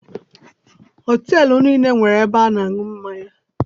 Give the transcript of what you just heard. Họteelụ niile nwere ebe ịṅụ mmanya.